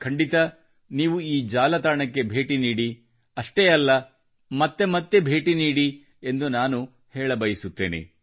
ಖಂಡಿತ ನೀವು ಈ ಜಾಲತಾಣಕ್ಕೆ ಭೇಟಿ ನೀಡಿ ಅಷ್ಟೇ ಅಲ್ಲ ಮತ್ತೆ ಮತ್ತೆ ಭೇಟಿ ನೀಡಿ ಎಂದು ನಾನು ಹೇಳಬಯಸುತ್ತೇನೆ